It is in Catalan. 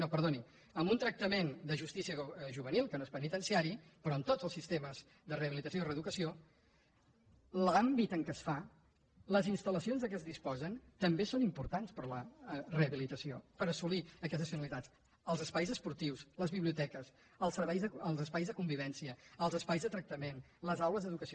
no perdoni en un tractament de justícia juvenil que no és penitenciari en tots els sistemes de rehabilitació i reeducació l’àmbit en què es fan les instal·lacions de què es disposa també són importants per a la rehabilitació per assolir aquestes finalitats els espais esportius les biblioteques els espais de convivència els espais de tractament les aules d’educació